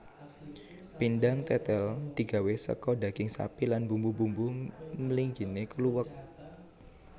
Pindang tètèl digawé saka daging sapi lan bumbu bumbu mliginé kluwek